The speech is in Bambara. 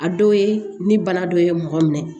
A dɔw ye ni bana dɔ ye mɔgɔ minɛ